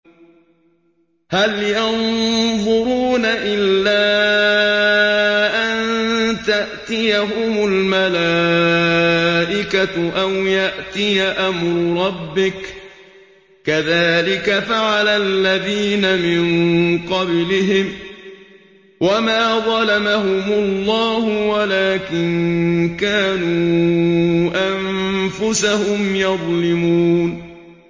هَلْ يَنظُرُونَ إِلَّا أَن تَأْتِيَهُمُ الْمَلَائِكَةُ أَوْ يَأْتِيَ أَمْرُ رَبِّكَ ۚ كَذَٰلِكَ فَعَلَ الَّذِينَ مِن قَبْلِهِمْ ۚ وَمَا ظَلَمَهُمُ اللَّهُ وَلَٰكِن كَانُوا أَنفُسَهُمْ يَظْلِمُونَ